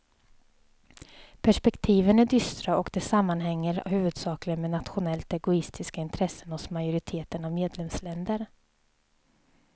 Perspektiven är dystra och det sammanhänger huvudsakligen med nationellt egoistiska intressen hos majoriteten av medlemsländer.